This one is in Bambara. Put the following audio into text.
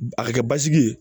A ka kɛ basigi ye